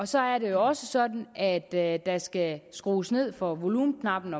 så er det jo også sådan at der skal skrues ned på volumenknappen